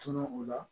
Tunun o la